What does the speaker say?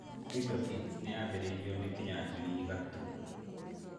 Twiga Foods nĩ yaambĩrĩirio nĩ Kĩnyanjui Gatuu.